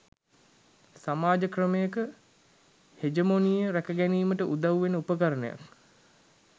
සමාජ ක්‍රමයක හෙජමොනිය රැකගැනීමට උදව් වෙන උපකරණයක්